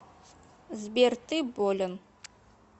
сбер ты болен